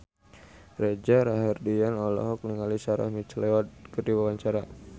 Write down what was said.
Reza Rahardian olohok ningali Sarah McLeod keur diwawancara